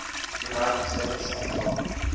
united states central